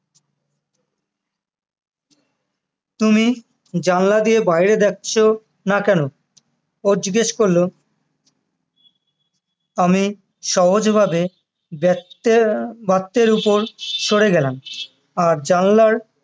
তুমি জানলা দিয়ে বাইরে দেখছোনা কেন? ও জিজ্ঞেস করলো আমি সহজভাবে দেখতে আহ বাত্যের উপর সরে গেলাম আর জানলার